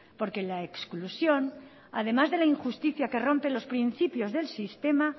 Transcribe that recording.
porque en la exclusión además de la injusticia que rompe los principios del sistema